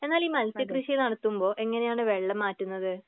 എന്നാൽ ഈ മത്സ്യ കൃഷി നടത്തുമ്പോ എങ്ങനെയാണ് വെള്ളം മാറ്റുന്നത്?